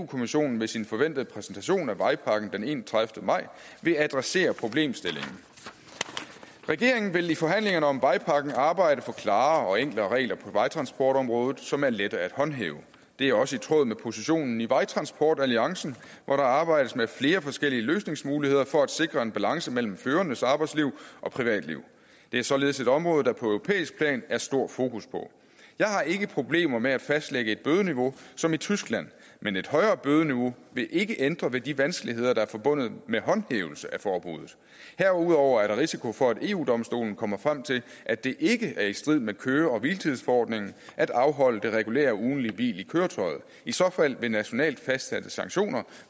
kommissionen ved sin forventede præsentation af vejpakken den enogtredivete maj vil adressere problemstillingen regeringen vil i forhandlingerne om vejpakken arbejde for klarere og enklere regler på vejtransportområdet som er lette at håndhæve det er også i tråd med positionen i vejtransportalliancen hvor der arbejdes med flere forskellige løsningsmuligheder for at sikre balance mellem førernes arbejdsliv og privatliv det er således et område der på europæisk plan er stor fokus på jeg har ikke problemer med at fastlægge et bødeniveau som i tyskland men et højere bødeniveau vil ikke ændre ved de vanskeligheder der er forbundet med håndhævelse af forbuddet herudover er der risiko for at eu domstolen kommer frem til at det ikke er strid med køre og hviletidsforordningen at afholde det regulære ugentlige hvil i køretøjet i så fald vil nationalt fastsatte sanktioner